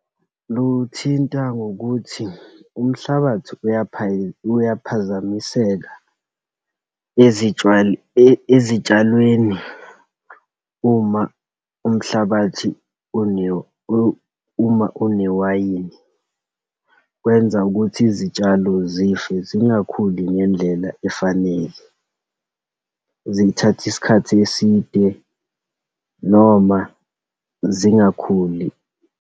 Luwuthinta ngokuthi umhlabathi uyaphazamiseka ezitshalweni uma umhlabathi uma unewayini, kwenza ukuthi izitshalo zife, zingakhuli ngendlela efanele, zithathe isikhathi eside, noma zingakhuli.